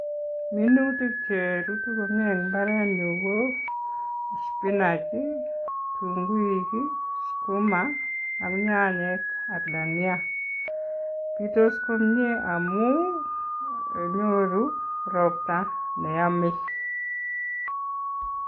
Minutik cherutu komie en mbarenyun ko spinach, tunguik, sukuma ak nyanyek ak tania pitos komie amun nyoru ropta neame.